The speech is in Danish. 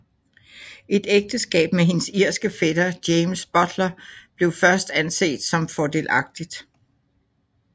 Et ægteskab med hendes irske fætter James Butler blev først anset som fordelagtigt